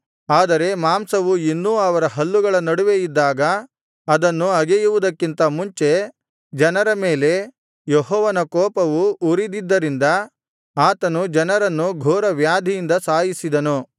ಆದರೆ ಮಾಂಸವು ಇನ್ನೂ ಅವರ ಹಲ್ಲುಗಳ ನಡುವೆ ಇದ್ದಾಗ ಅದನ್ನು ಅಗೆಯುವುದಕ್ಕಿಂತ ಮುಂಚೆ ಜನರ ಮೇಲೆ ಯೆಹೋವನ ಕೂಪವು ಉರಿದದ್ದರಿಂದ ಆತನು ಜನರನ್ನು ಘೋರವ್ಯಾಧಿಯಿಂದ ಸಾಯಿಸಿದನು